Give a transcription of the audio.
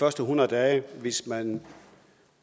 første hundrede dage hvis man